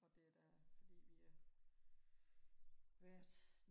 for det er da fordi vi har været